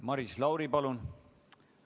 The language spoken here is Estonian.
Maris Lauri, palun!